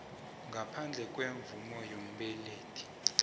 ngaphandle kwemvumo yombelethi